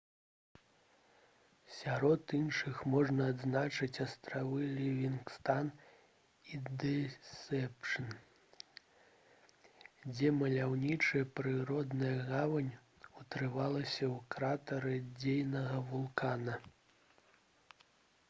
сярод іншых можна адзначыць астравы лівінгстан і дэсэпшн дзе маляўнічая прыродная гавань утварылася ў кратары дзейнага вулкана